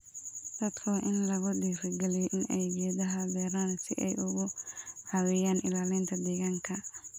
Dadku waa in lagu dhiirri geliyo in ay geedaha beeraan si ay uga caawiyaan ilaalinta deegaanka.